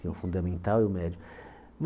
Tem o fundamental e o médio.